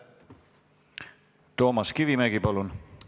Toomas Kivimägi, palun!